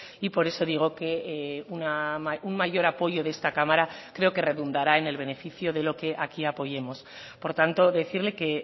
y por eso digo que un mayor apoyo de esta cámara creo que redundará en el beneficio de lo que aquí apoyemos por tanto decirle que